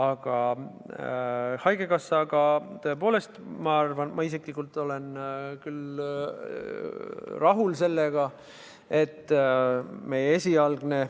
Aga haigekassa puhul, tõepoolest, ma isiklikult olen küll rahul sellega, et meie esialgne